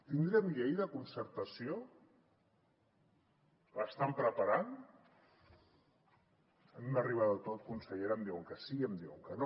tindrem llei de concertació l’estan preparant a mi m’arriba de tot consellera em diuen que sí em diuen que no